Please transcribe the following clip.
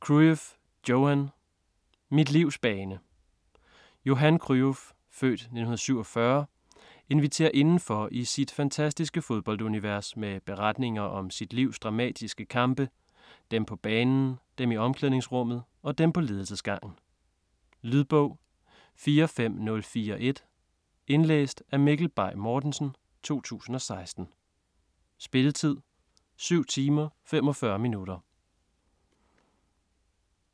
Cruyff, Johan: Mit livs bane Johan Cruyff (f. 1947) inviterer indenfor i sit fantastiske fodboldunivers med beretninger om sit livs dramatiske kampe: dem på banen, dem i omklædningsrummet og dem på ledelsesgangen. Lydbog 45041 Indlæst af Mikkel Bay Mortensen, 2016. Spilletid: 7 timer, 45 minutter.